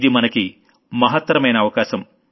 ఇది మనకి మహత్తరమైన అవకాశం